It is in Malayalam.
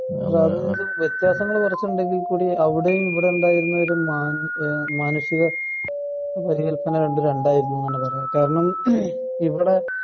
അതുമിതും വ്യത്യാസങ്ങൾ കുറച്ചു ഉണ്ടെങ്കിൽ കൂടി അവിടെയും ഇവിടെയുണ്ടായിരുന്നതും കൂടി മാനുഷിക പരികല്പന രണ്ടും രണ്ടായിരുന്നു എന്ന് തന്നെ പറയാം